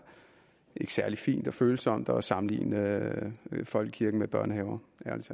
særlig fint og følsomt at sammenligne folkekirken med børnehaver